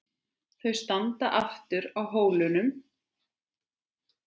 Þau standa aftur á hólnum.